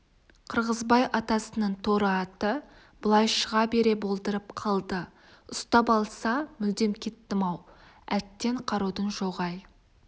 қырғызбай атасының торы аты былай шыға бере болдырып қалды ұстап алса мүрдем кеттім-ау әттең қарудың жоғы-ай